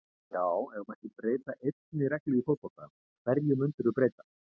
Já Ef þú mættir breyta einni reglu í fótbolta, hverju myndir þú breyta?